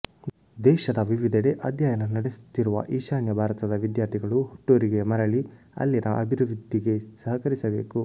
ದೇಶದ ವಿವಿಧೆಡೆ ಅಧ್ಯಯನ ನಡೆಸುತ್ತಿರುವ ಈಶಾನ್ಯ ಭಾರತದ ವಿದ್ಯಾರ್ಥಿಗಳು ಹುಟ್ಟೂರಿಗೆ ಮರಳಿ ಅಲ್ಲಿನ ಅಭಿವೃದ್ಧಿಗೆ ಸಹಕರಿಸಬೇಕು